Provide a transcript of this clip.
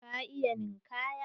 Ka iya ninkaya?